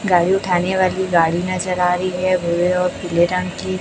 गाड़ी उठाने वाली गाड़ी नजर आ रही है भूरे और पीले रंग की।